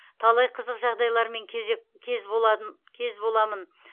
талай қызық жағдайлармен кезек кез боламын